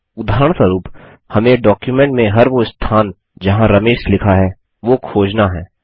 उदाहरणस्वरुप हमें डॉक्युमेंट में हर वो स्थान जहाँ रमेश लिखा है वो खोजना है